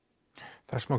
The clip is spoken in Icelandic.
þess má